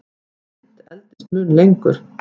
Mynt endist mun lengur.